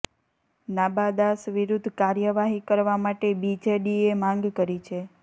નાબા દાસ વિરુદ્ધ કાર્યવાહી કરવા માટે બીજેડીએ માંગ કરી છે